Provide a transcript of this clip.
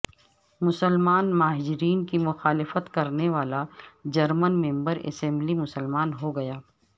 مسلمان مہاجرین کی مخالفت کرنے والا جرمن ممبر اسمبلی مسلمان ہو گیا